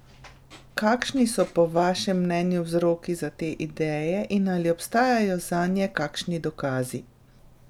Kakšni so po vašem mnenju vzroki za te ideje in ali obstajajo zanje kakšni dokazi?